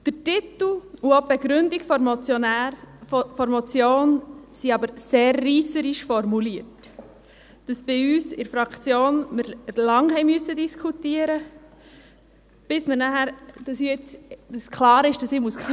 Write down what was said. Der Titel und auch die Begründung der Motion sind aber sehr reisserisch formuliert, sodass wir bei uns in der Fraktion lange diskutieren mussten, bis klar war, dass ich klarstellen muss: